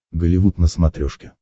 голливуд на смотрешке